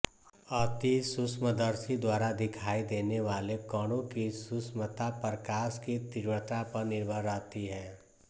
अतिसूक्ष्मदर्शी द्वारा दिखाई देने वाले कणों की सूक्ष्मता प्रकाश की तीव्रता पर निर्भर रहती है